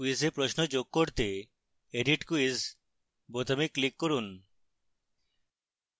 ক্যুইজে প্রশ্ন যোগ করতে edit quiz বোতামে click করুন